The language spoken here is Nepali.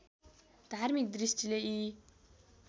धार्मिक दृष्टिले यी